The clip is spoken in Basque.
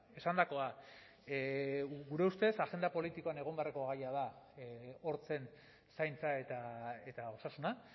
esandakoa gure ustez agenda politikoan egon beharreko gaia da hortzen zaintza eta osasuna